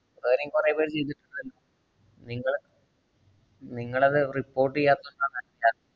വേറെയും കൊറേപ്പേര് ചെയ്തിട്ടുണ്ടല്ലോ. നിങ്ങള് നിങ്ങളത് report എയ്യാത്തകൊണ്ടാണ്